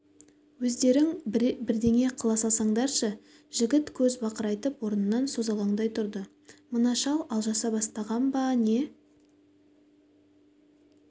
өздерің бірдеңе қыла салсаңдаршы жігіт көз бақырайып орнынан созалаңдай тұрды мына шал алжаса бастаған ба не